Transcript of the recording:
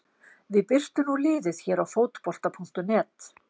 Við birtum nú liðið hér á Fótbolta.net.